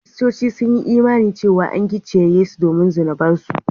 Kiristoci sun yi imani cewa an gicciye Yesu domin zunubansu